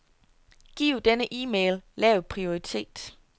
Giv denne e-mail lav prioritet.